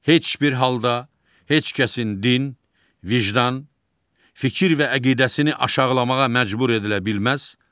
Heç bir halda heç kəsin din, vicdan, fikir və əqidəsini aşağılamağa məcbur edilə bilməz